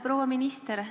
Proua minister!